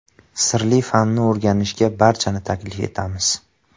Sirli fanni o‘rganishga barchani taklif etamiz!